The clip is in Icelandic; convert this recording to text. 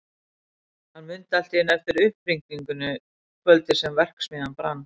Hann mundi allt í einu eftir upphringingunni kvöldið sem verksmiðjan brann.